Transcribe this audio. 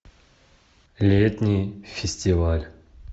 летний фестиваль